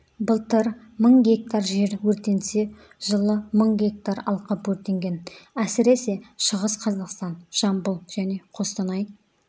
былтыр мың гектар жер өртенсе жылы мың гектар алқап өртенген әсіресе шығыс қазақстан жамбыл және қостанай